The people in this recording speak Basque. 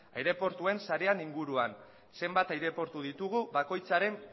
aireportuen sarean inguruan zenbat aireportu ditugu bakoitzaren